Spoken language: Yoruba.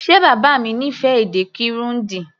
Ṣe bàbá mi fẹ́ràn èdè Kirundi?